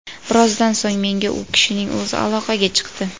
Birozdan so‘ng menga u kishining o‘zi aloqaga chiqdi.